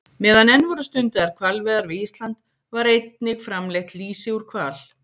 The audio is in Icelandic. Meðan enn voru stundaðar hvalveiðar við Ísland var einnig framleitt lýsi úr hval.